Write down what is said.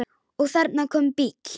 Og þarna kom bíll.